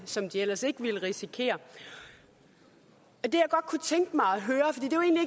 som de ellers ikke ville risikere det